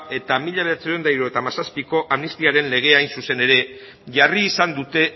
eta mila bederatziehun eta hirurogeita hamazazpiko amnistiaren legea hain zuzen ere jarri izan dute